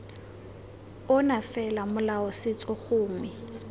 ona fela molao setso gongwe